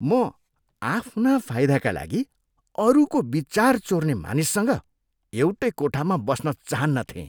म आफ्ना फाइदाका लागि अरूको विचार चोर्ने मानिससँग एउटै कोठामा बस्न चाहन्नथेँ।